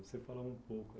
Você falou um pouco,